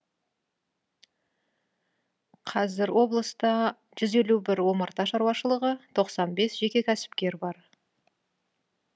қазір облыста жүз елу бір омарта шаруашылығы тоқсан бес жеке кәсіпкер бар